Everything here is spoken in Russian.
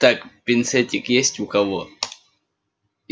так пинцетик есть у кого